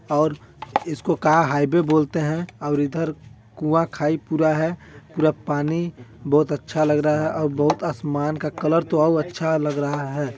और इसको का हाईवे बोलते है और इधर कुँआ -खाई पूरा है पूरा पानी बहुत अच्छा लग रहा है और बहुत असमान का कलर तो अउ अच्छा लग रहा हैं।